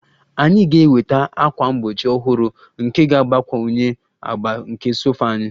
Anyị ga-enweta ákwà mgbochi ọhụrụ nke ga-agbakwunye agba nke sofa anyị